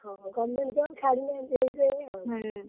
ଓହୋ government job ଛାଡିଲେ ଏମିତି ହେଇଯାଏ ଆଉ।